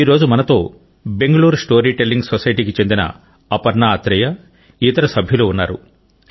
నేడు మనతో Bengaluru story telling society కి సంబంధించిన అపర్ణ అత్రేయ ఇతర సభ్యులు ఉన్నారు